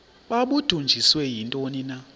babudunjiswe yintoni na